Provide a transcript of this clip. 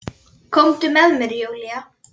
Komdu með mér Júlía.